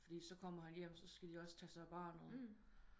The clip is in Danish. Fordi så kommer han hjem så skal de også tage sig af barnet